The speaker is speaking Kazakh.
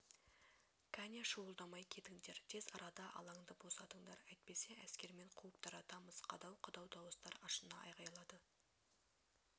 кәне шуылдамай кетіңдер тез арада алаңды босатыңдар әйтпесе әскермен қуып таратамыз қадау қадау дауыстар ашына айғайлады